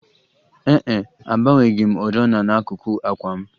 Ee e, agbanweghị m oriọna n'akuku àkwà m